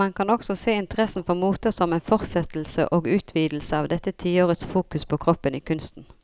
Man kan også se interessen for moter som en fortsettelse og utvidelse av dette tiårets fokus på kroppen i kunsten.